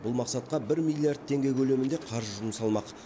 бұл мақсатқа бір миллиард теңге көлемінде қаржы жұмсалмақ